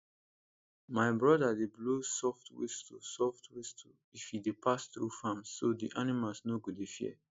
my brother dey blow soft whistle soft whistle if e dey pass through farms so d animals no go dey fear